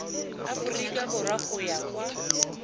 aforika borwa go ya kwa